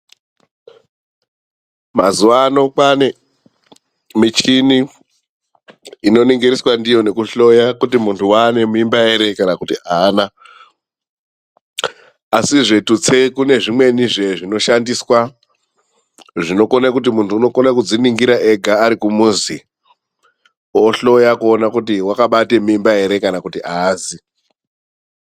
Mazuwano kwane michini inoningiriswa ndiyo nekuhloya kuona kuti munthu waane mimba ere kana kuti aana. Asizve tutse kune zvimweni zve zvinoshandiswa zvinokone kuti munthu unokona kudziningira ega arikumuzi ohloya kuona kuti wakabate mimba ere kana kuti aazi.